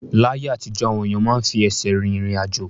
Láyé àtijọ́, àwọn èèyàn máa ń fi ẹsẹ̀ rìn irin-ajo